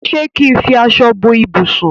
ṣe kín fí aṣọ bó ibusùn.